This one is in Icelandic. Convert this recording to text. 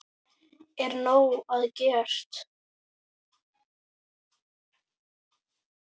Er nóg að gert?